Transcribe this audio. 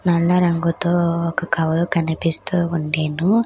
నల్ల రంగుతో ఒక కవరు కనిపిస్తూ ఉండెను.